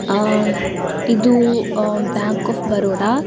ಆಹ್ಹ್ ಇದು bank of Baroda --